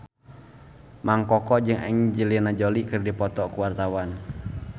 Mang Koko jeung Angelina Jolie keur dipoto ku wartawan